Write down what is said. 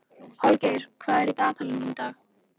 Holgeir, hvað er í dagatalinu mínu í dag?